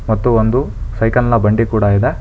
ಮತ್ತು ಒಂದು ಸೈಕಲ್ನ ಬಂಡಿ ಕೂಡ ಇದೆ.